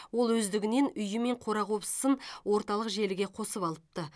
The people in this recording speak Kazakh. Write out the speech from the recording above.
ол өздігінен үйі мен қора қопсысын орталық желіге қосып алыпты